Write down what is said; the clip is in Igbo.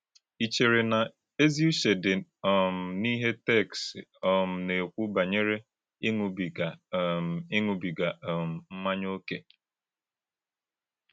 Ì chèrè na èzì ùchè dị um n’íhè téksì um na-ekwù bányèré ịṅụ́bìgà um ịṅụ́bìgà um mmànỳà ókè?